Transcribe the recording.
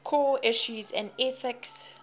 core issues in ethics